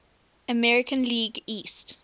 american league east